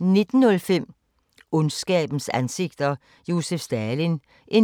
19:05: Ondskabens ansigter – Josef Stalin (2:10)*